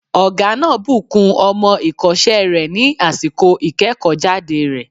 Ọ̀gá náà bùkún ọmọ èkósẹ́ rẹ̀ ní àsìkò ìkéèkó jáde rẹ̀